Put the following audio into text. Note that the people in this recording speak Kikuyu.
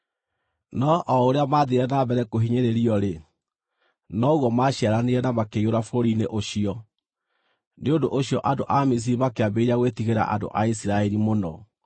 No o ũrĩa maathiire na mbere kũhinyĩrĩrio-rĩ, noguo maaciaranire na makĩiyũra bũrũri-inĩ ũcio; nĩ ũndũ ũcio andũ a Misiri makĩambĩrĩria gwĩtigĩra andũ a Isiraeli mũno,